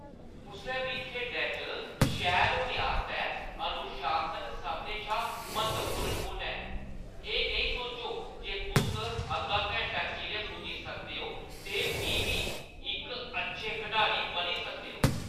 कुसै बी खेढै च शैल होने आस्तै अनुशासन सभनें शा म्हत्तवपूर्ण गुण ऐ। एह् नेईं सोचो जे तुस अद्धा घैंटा चिरें पुज्जी सकदे ओ ते फ्ही बी इक अच्छे खढारी बनी सकदे ओ।